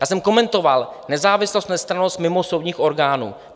Já jsem komentoval nezávislost, nestrannost mimosoudních orgánů.